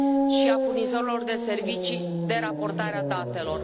și a furnizorilor de servicii de raportare a datelor.